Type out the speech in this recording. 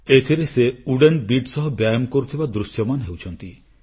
ଏଥରର ସେ wooden beads ସହ ବ୍ୟାୟାମ କରୁଥିବା ଦୃଶ୍ୟମାନ ହେଉଛନ୍ତି